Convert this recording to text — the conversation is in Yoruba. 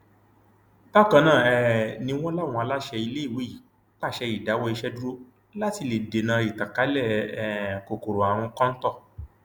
bákan náà um ni wọn láwọn aláṣẹ iléèwé yìí pàṣẹ ìdáwọ iṣẹ dúró láti lè dènà ìtànkalẹ um kòkòrò àrùn kọńtò